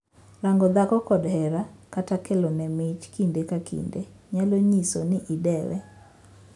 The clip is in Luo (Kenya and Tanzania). Rango dhako kod hera, kata kelone mich kinde ka kinde nyalo nyiso ni idewe.